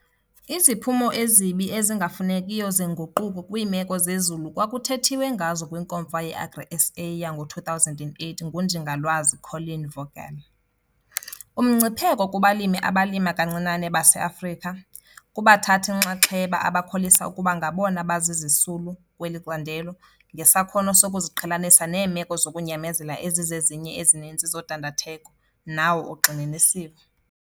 Iziphumo ezibi ezingafunekiyo zenguquko kwiimeko zemozulu kwakuthethiwe ngazo kwiNkomfa yeAgriSA yango-2008 nguNjingalwazi Colleen Vogel- Umngcipheko kubalimi abalima kancinane baseAfrika, kubathathi-nxaxheba abakholisa ukuba ngabona bazizisulu kweli candelo, ngesakhono sokuziqhelanisa neemeko zokunyamezela ezizezinye ezininzi zodandatheko, nawo ugxininisiwe.